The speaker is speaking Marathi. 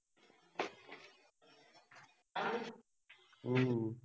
हम्म